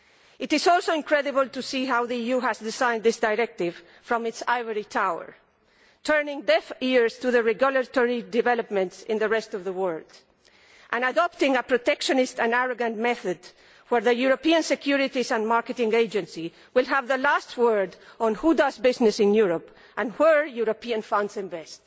It is also incredible to see how the EU has designed this directive from its ivory tower, turning deaf ears to regulatory developments in the rest of the world and adopting a protectionist and arrogant method, whereby the European Securities and Markets Authority will have the last word on who does business in Europe and where European funds invest.